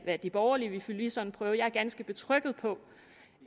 hvad de borgerlige ville fylde i sådan en prøve jeg er ganske tryg ved